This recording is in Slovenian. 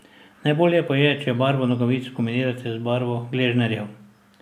Najbolje pa je, če barvo nogavic kombinirate z barvo gležnjarjev.